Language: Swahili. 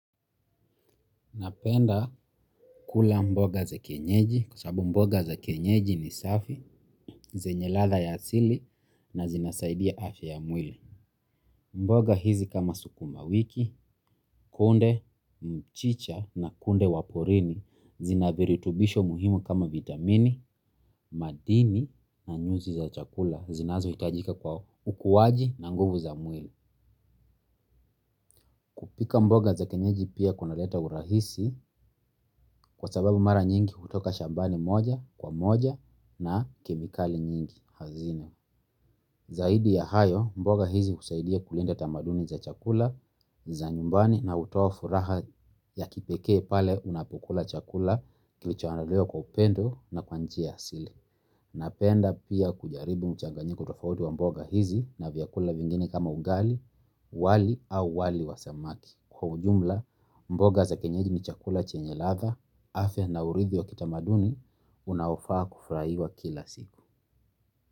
Napenda kula mboga za kienyeji kwasababu mboga za kienyeji ni safi, zenye ladha ya asili na zinasaidia afya ya mwili. Mboga hizi kama sukuma wiki, kunde, mchicha na kunde waporini zinaviritubisho muhimu kama vitamini, madini na nyuzi za chakula zinazo hitajika kwa ukuaji na nguvu za mwili. Kupika mboga za kienyeji pia kuna leta urahisi kwa sababu mara nyingi hutoka shambani moja kwa moja na kemikali nyingi hazina. Zaidi ya hayo, mboga hizi husaidia kulinda tamaduni za chakula, za nyumbani na hutoa furaha ya kipeke pale unapukula chakula kilicho andaliwa kwa upendo na kwanjia yaasili. Napenda pia kujaribu mchanganyiko tofauti wa mboga hizi na vyakula vingine kama ugali wali au wali wa samaki. Kwa ujumla, mboga za kienyeji ni chakula chenye ladha, afya na urithi wa kitamaduni, unaofaa kufurahiwa kila siku.